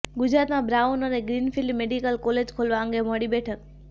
ગુજરાતમાં બ્રાઉન અને green field medical college ખોલવા અંગે મળી બેઠક